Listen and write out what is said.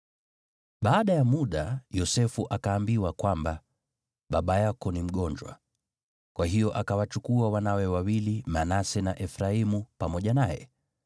Baada ya muda Yosefu akaambiwa kwamba, “Baba yako ni mgonjwa.” Kwa hiyo akawachukua wanawe wawili Manase na Efraimu, pamoja naye.